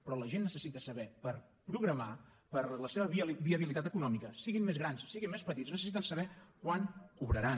però la gent necessita saber per programar per a la seva viabilitat econòmica siguin més grans siguin més petits necessiten saber quan cobraran